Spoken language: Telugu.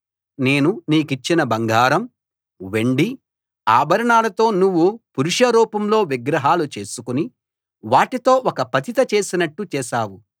నేను నీకిచ్చిన బంగారం వెండి ఆభరణాలతో నువ్వు పురుష రూపంలో విగ్రహాలు చేసుకుని వాటితో ఒక పతిత చేసినట్టు చేశావు